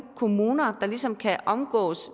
kommuner der ligesom kan omgå